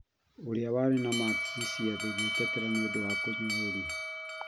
ũria wari na maakithi ciathĩ gwitetera nīūndū wa kũnyũrũrio